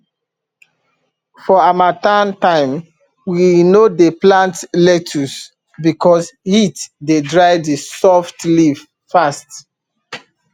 for harmattan time we no dey plant lettuce because heat dey dry the soft leaf fast